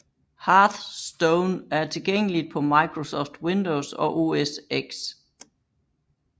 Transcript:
Hearthstone er tilgængeligt på Microsoft Windows og OS X